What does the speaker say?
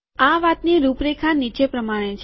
આ વાતની રૂપરેખા નીચે પ્રમાણે છે